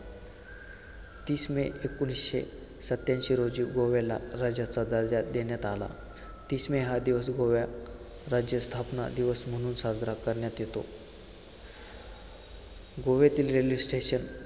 तीस मे एकोणिसशे सत्याऐंशी रोजी गोव्याला राज्याचा दर्जा देण्यात आला. तीस मे हा दिवस गोवा राज्य स्थापना दिवस म्हणून साजरा करण्यात येतो. गोव्यातील railway station